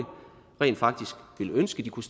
rent faktisk ønsker at kunne